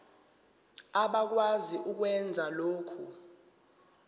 abakwazi ukwenza lokhu